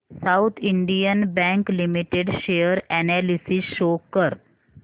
south Indian Bank Limited share analysis show कर